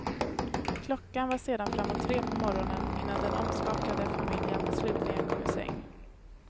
Klockan var sedan framåt tre på morgonen innan den omskakade familjen slutligen kom i säng.